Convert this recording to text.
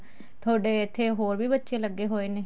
ਥੋਡੇ ਇੱਥੇ ਹੋਰ ਵੀ ਬੱਚੇ ਲੱਗੇ ਹੋਏ ਨੇ